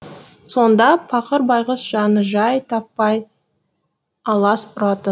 сонда пақыр байғұс жаны жай таппай алас ұратын